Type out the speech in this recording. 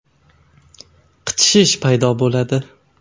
Qichishish paydo bo‘ladi.